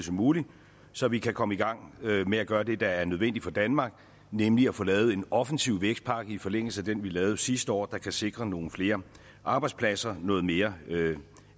som muligt så vi kan komme i gang med at gøre det der er nødvendigt for danmark nemlig at få lavet en offensiv vækstpakke i forlængelse af den vi lavede sidste år der kan sikre nogle flere arbejdspladser noget mere